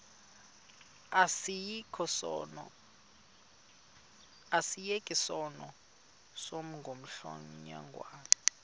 asiyeke sono smgohlwaywanga